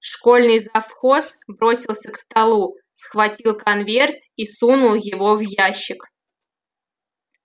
школьный завхоз бросился к столу схватил конверт и сунул его в ящик